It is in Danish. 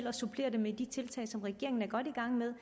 og supplere dem med de tiltag som regeringen er godt i gang med